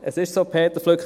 Es ist so, Peter Flück: